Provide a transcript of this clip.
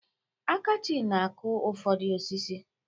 Akachi na-akụ ụfọdụ osisi.